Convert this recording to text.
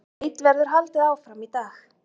Leit verður haldið áfram í dag